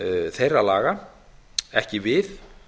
þeirra laga ekki við